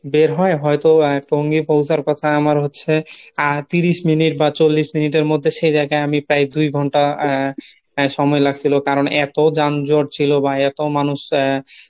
বের হয়ে হয়তো টঙ্গী পৌছার কথা আমার হচ্ছে আহ ত্রিশ minute বা চল্লিশ minute এর মধ্যে সে জায়গায় আমি প্রায় দুই ঘন্টা আহ সময় লাগছিলো কারণ এতো যানজট ছিল বা এতো মানুষ আহ